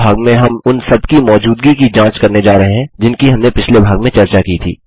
इस भाग में हम उन सब की मौजूदगी की जाँच करने जा रहे हैं जिनकी हमने पिछले भाग में चर्चा की थी